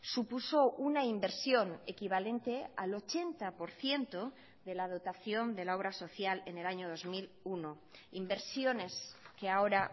supuso una inversión equivalente al ochenta por ciento de la dotación de la obra social en el año dos mil uno inversiones que ahora